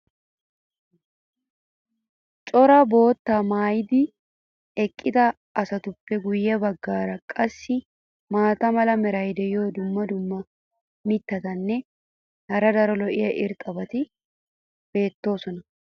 cora boottaa maayidi eqqida asatuppe guye bagaara qassi maata mala meray diyo dumma dumma mitatinne hara daro lo'iya irxxabati beetoosona.